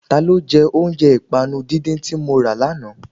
Ta ló jẹ́ oúnjẹ ìpànu díndín tí mọ ra lánàá?